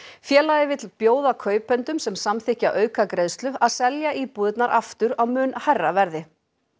félagið vill bjóða kaupendum sem samþykkja aukagreiðslu að selja íbúðirnar aftur á mun hærra verði